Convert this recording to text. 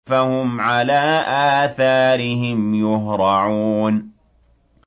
فَهُمْ عَلَىٰ آثَارِهِمْ يُهْرَعُونَ